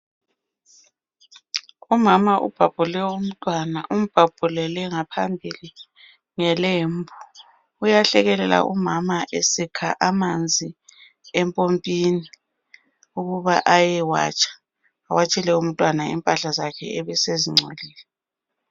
Umama ubhabhule umntwana umbhabhulele ngaphambili ngelembu ,uyahlekelela umama esikha amanzi empompini ukuba ayewatsha ewatshele umntwana impahla zakhe ebesezingcolile.